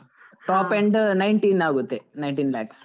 top end nineteen ಆಗುತ್ತೆ nineteen lakhs .